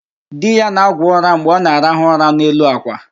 Di ya na-agwọ ụra mgbe ọ na-araha ụra n'elu àkwà